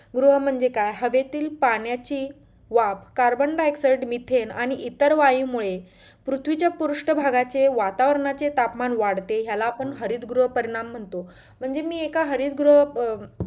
गृह म्हणजे काय हवेतील, पाण्याची वाफ carbondioxide, mithen आणि इतर वायू मुळे पृथ्वीच्या पृष्ठ भागःची वातावरणाचे तापमानाचे वाढते ह्याला आपण हरित गृह परिणाम म्हणतो म्हणजे मी एका हरित गृह अं